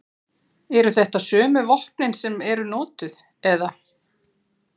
Eru þetta sömu vopnin sem eru notuð eða?